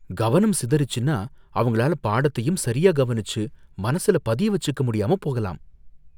கவனம் சிதறிச்சுன்னா, அவங்களால பாடத்தை சரியா கவனிச்சு மனசுல பதிய வெச்சுக்க முடியாம போகலாம்.